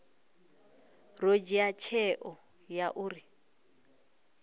ḓo dzhia tsheo ya uri